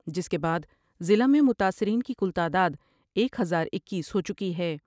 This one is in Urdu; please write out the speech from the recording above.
جس کے بعد ضلع میں متاثرین کی کل تعداد ایک ہزار اکیس ہو چکی ہے ۔